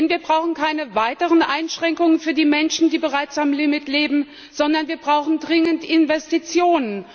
Denn wir brauchen keine weiteren Einschränkungen für die Menschen, die bereits am Limit leben, sondern wir brauchen dringend Investitionen.